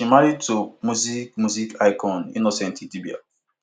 she marry to music music icon innocent idibia